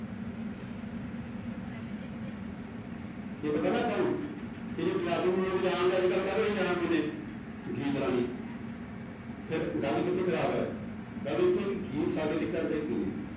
ਇਹ ਪਤਾ ਨਾ ਆਪਾਂ ਨੂੰ ਪੰਜਾਬੀ ਨੂੰ ਲੋਕ ਜਾਣਦੇ ਅੱਜ ਕੱਲ੍ਹ ਕਾਹਦੇ ਰਾਹੀਂ ਜਾਣਦੇ ਨੇ ਗੀਤ ਰਾਹੀਂ ਫਿਰ ਗੱਲ ਕਿੱਥੇ ਖ਼ਰਾਬ ਹੈ ਗੱਲ ਇੱਥੇ ਕਿ ਗੀਤ ਸਾਡੇ ਲਈ ਕਰਦੇ ਕੀ ਨੇ।